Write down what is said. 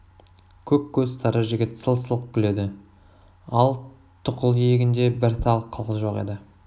көк көз сары жігіт сылқ-сылқ күледі ал тұқыл иегінде бір тал қыл жоқ еді